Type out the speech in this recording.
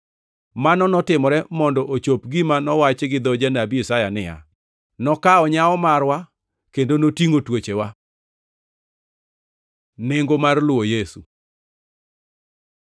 Mano notimore mondo ochop gima nowachi gi dho Janabi Isaya niya, “Nokawo nyawo marwa kendo notingʼo tuochewa.” + 8:17 \+xt Isa 53:4\+xt* Nengo mar luwo Yesu